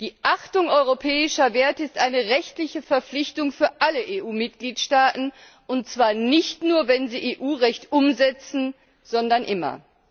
Die Achtung europäischer Werte ist eine rechtliche Verpflichtung für alle EU Mitgliedstaaten, und zwar nicht nur, wenn sie EU Recht umsetzen, sondern immer.